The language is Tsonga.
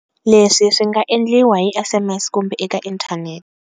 Leswi swi nga endliwa hi SMS kumbe eka inthanete.